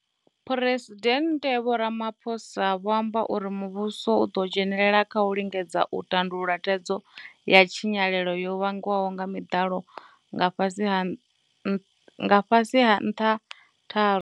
Phresidennde Vho Ramaphosa vho amba uri muvhuso u ḓo dzhenelela kha u lingedza u tandulula thaidzo ya tshinyalelo yo vhangwaho nga miḓalo nga fhasi ha nṱha tharu.